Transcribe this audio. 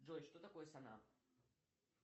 джой что такое сонар